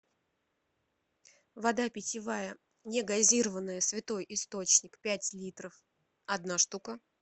вода питьевая негазированная святой источник пять литров одна штука